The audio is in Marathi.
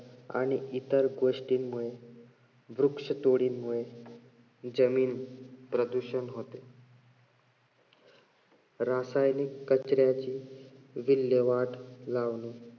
आणि इतर गोष्टींमुळे वृक्षतोडींमुळे जमीन प्रदूषण होते. रासायनिक कचऱ्याची विलेव्हाट लावणे